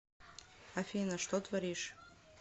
афина что творишь